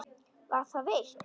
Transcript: Var það veitt.